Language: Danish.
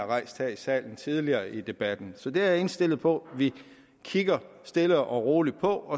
rejst her i salen tidligere i debatten så det er jeg indstillet på at vi kigger stille og roligt på